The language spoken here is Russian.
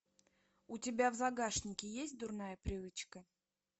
у тебя в загашнике есть дурная привычка